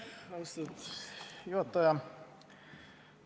Austatud juhataja!